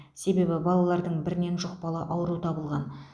себебі балалардың бірінен жұқпалы ауру табылған